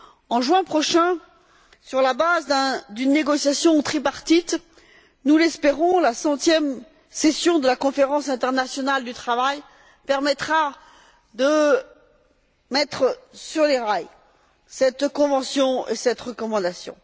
En juin prochain, sur la base d'une négociation tripartite, nous l'espérons, la centième session de la Conférence internationale du travail permettra de mettre sur les rails cette convention et cette recommandation.